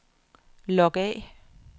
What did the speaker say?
log af